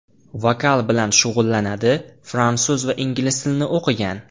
Vokal bilan shug‘ullanadi, fransuz va ingliz tilini o‘qigan.